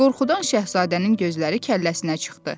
Qorxudan şahzadənin gözləri kəlləsinə çıxdı.